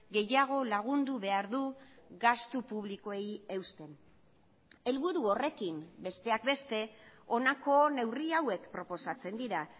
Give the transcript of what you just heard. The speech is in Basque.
gehiago lagundu behar du gastu publikoei eusten helburu horrekin besteak beste honako neurri hauek proposatzen dira